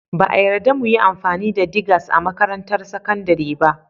Ba a yarda mu yi amfani da digers a makarantar sakandare ba